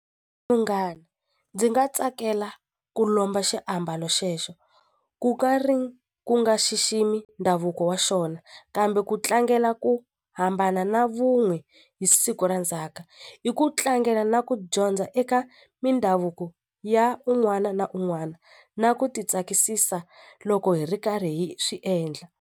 Munghana ndzi nga tsakela ku lomba xiambalo xexo ku ka ri ku nga xiximi ndhavuko wa xona kambe ku tlangela ku hambana na vu wun'we hi siku ra ndzhaka i ku tlangela na ku dyondza eka mindhavuko ya un'wana na un'wana na ku ti tsakisisa loko hi ri karhi hi swi endla.